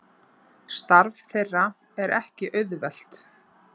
Starf þeirra er ekki auðvelt